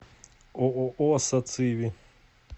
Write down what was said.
ооо сациви